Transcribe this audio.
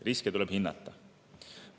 Riske tuleb hinnata.